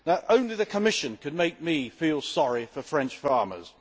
Only the Commission could make me feel sorry for French farmers.